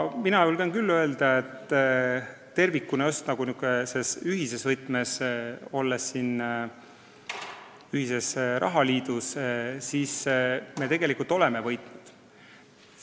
Mina julgen küll öelda, et just nimelt tänu sellele ühele võtmele me oleme siin ühises rahaliidus kõik tegelikult võitnud.